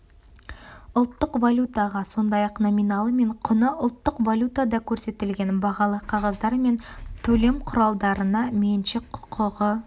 ұлттық валютаға сондай-ақ номиналы мен құны ұлттық валютада көрсетілген бағалы қағаздар мен төлем құралдарына меншік құқығы